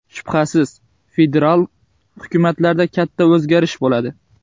Shubhasiz, federal hukumatda katta o‘zgarishlar bo‘ladi”.